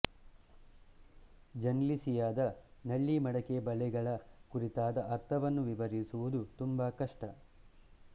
ಜೆನ್ಲಿಸಿಯಾ ದ ನಳ್ಳಿಮಡಕೆ ಬಲೆಗಳ ಕುರಿತಾದ ಅರ್ಥವನ್ನು ವಿವರಿಸುವುದು ತುಂಬಾ ಕಷ್ಟ